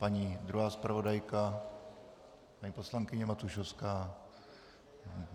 Paní druhá zpravodajka, paní poslankyně Matušovská.